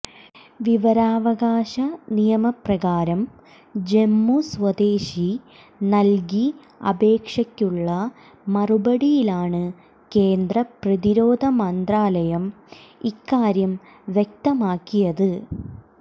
വിവരാവകാശ നിയമപ്രകാരം ജമ്മു സ്വദേശി നല്കി അപേക്ഷക്കുള്ള മറുപടിയിലാണ് കേന്ദ്ര പ്രതിരോധ മന്ത്രാലയം ഇക്കാര്യം വ്യക്തമാക്കിയത്